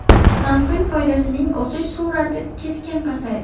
Samsung foydasining o‘sish sur’ati keskin pasaydi.